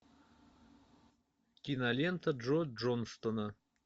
кинолента джо джонстона